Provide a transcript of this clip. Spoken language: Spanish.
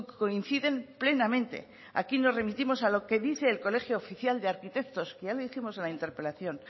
coinciden plenamente aquí nos remitimos a lo que dice el colegio oficial de arquitectos que ya lo dijimos en la interpelación